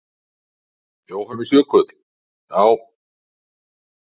Jóhannes Jökull: Já.